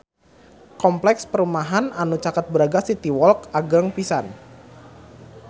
Kompleks perumahan anu caket Braga City Walk agreng pisan